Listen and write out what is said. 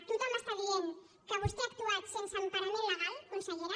tothom diu que vostè ha actuat sense emparament legal consellera